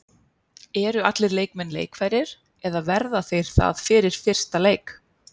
Eru allir leikmenn leikfærir eða verða þeir það fyrir fyrsta leik?